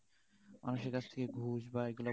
মানুষের কাছ থেকে